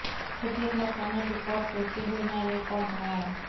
खुद ही अपना पुराना रेकॉर्ड तोड़ते हुए नया रेकॉर्ड बनाया